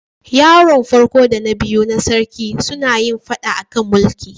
Yaron farko da na biyu na sarkin suna yin fada a kan mulkin.